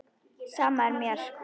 Sama er mér.